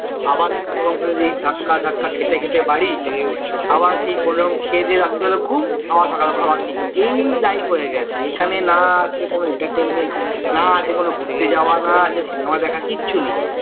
আবারএই রকম করে ধাক্কা খেতে খেতে বাড়ি আবার খেয়ে দেয়া রাত্রিবেলায় ঘুম আবার সকালবেলায় এই life হয়ে গেছে এখানে না আছে কোনো entertainment না আছে কোনো ঘুরতে যাওয়া না আছে না আছে সিনেমা দেখা